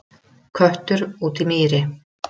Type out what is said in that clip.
Köttur út í mýri